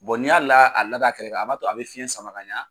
n y'a la a lada a kɛrɛ kan a b'a to a bɛ fiyɛn sama ka ɲɛ.